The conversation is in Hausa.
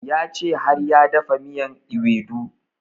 Ya ce har ya dafa miyan ewedu